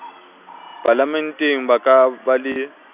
palamenteng ba ka ba le